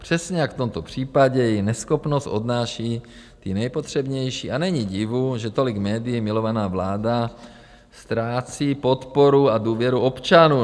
Přesně jak v tomto případě její neschopnost odnáší ti nejpotřebnější a není divu, že tolik médii milovaná vláda ztrácí podporu a důvěru občanů.